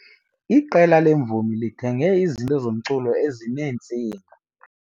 Iqela leemvumi lithenge izinto zomculo ezineentsinga.